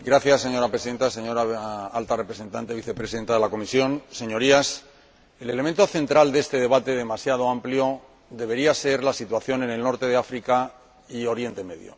Señora Presidenta, señora Alta Representante y Vicepresidenta de la Comisión, Señorías, el elemento central de este debate demasiado amplio debería ser la situación en el norte de África y en Oriente Próximo.